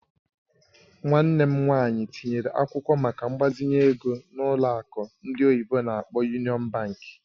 Nwanne m nwanyị tinyere akwụkwọ maka mgbazinye ego na ụlọ akụ ndị oyibo n'akpọ "Union Bank".